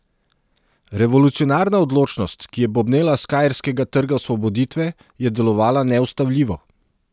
Revolucionarna odločnost, ki je bobnela s kairskega Trga osvoboditve, je delovala neustavljivo.